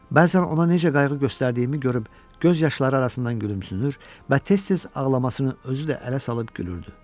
Bəzən ona necə qayğı göstərdiyimi görüb göz yaşları arasından gülümsünür və tez-tez ağlamasını özü də ələ salıb gülürdü.